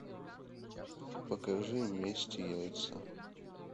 покажи месть яйца